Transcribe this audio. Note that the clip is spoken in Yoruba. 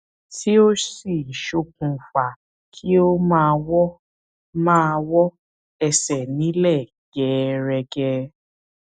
tí ó sì ṣokùnfa kí ó máa wọ máa wọ ẹsẹ nílẹ gẹẹrẹgẹ